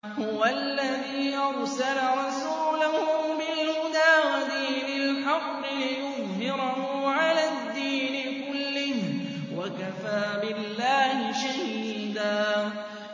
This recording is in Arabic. هُوَ الَّذِي أَرْسَلَ رَسُولَهُ بِالْهُدَىٰ وَدِينِ الْحَقِّ لِيُظْهِرَهُ عَلَى الدِّينِ كُلِّهِ ۚ وَكَفَىٰ بِاللَّهِ شَهِيدًا